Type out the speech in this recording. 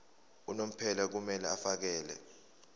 unomphela kumele afakele